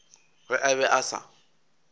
ge a be a sa